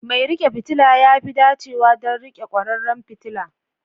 Mai riƙe fitila ya fi dacewa don riƙe kwararan fitila.